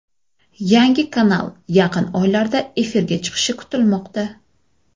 Yangi kanal yaqin oylarda efirga chiqishi kutilmoqda.